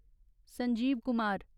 Sanjeev Kumar